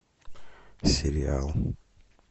сериал